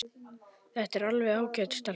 Þetta er alveg ágæt stelpa.